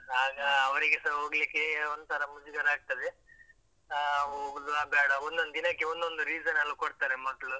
ಆಗ ಅವ್ರಿಗೆಸ ಹೋಗ್ಲಿಕ್ಕೆ ಒಂತರ ಮುಜುಗರ ಆಗ್ತದೆ, ಹಾ ಹೋಗುದಾ ಬೇಡ್ವಾ, ಒಂದೊಂದಿನಕ್ಕೆ ಒಂದೊಂದು reason ಲ್ಲಾ ಕೊಡ್ತಾರೆ ಮಕ್ಳು.